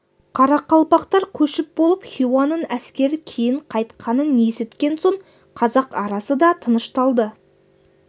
қарақалпақтар көшіп болып хиуаның әскері кейін қайтқанын есіткен соң қазақ арасы да тынышталды